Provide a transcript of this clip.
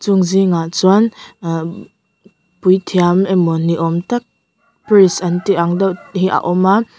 chung zîngah chuan ahh puithiam emaw ni âwm tak priest an tih ang deuh hi a awm a.